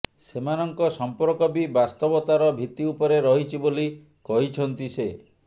ସେମାନଙ୍କ ସମ୍ପର୍କ ବି ବାସ୍ତବତାର ଭିତ୍ତି ଉପରେ ରହିଛି ବୋଲି କହିଛନ୍ତି ସେ